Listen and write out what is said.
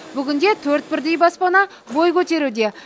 бүгінде төрт бірдей баспана бой көтеруде